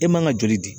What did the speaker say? E man ka joli di